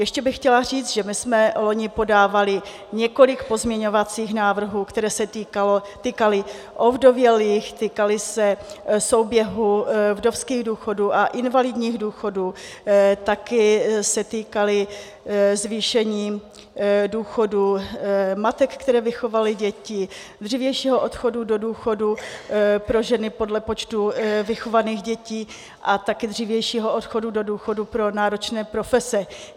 Ještě bych chtěla říct, že my jsme loni podávali několik pozměňovacích návrhů, které se týkaly ovdovělých, týkaly se souběhu vdovských důchodů a invalidních důchodů, taky se týkaly zvýšení důchodů matek, které vychovaly děti, dřívějšího odchodu do důchodu pro ženy podle počtu vychovaných dětí a taky dřívějšího odchodu do důchodu pro náročné profese.